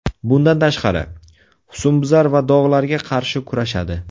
Bundan tashqari, husnbuzar va dog‘larga qarshi kurashadi.